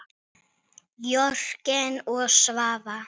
Jörgen og Svava.